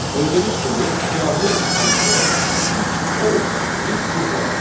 Gördüyünüz kimi siyahının içində üç false, bir true var.